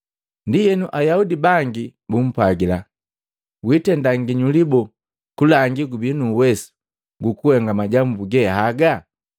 Ndienu Ayaudi bangi bumpwajila, “Witenda nginyuli boo, kulangi gubii nu uwesu gukuhenga majambu ge haga?”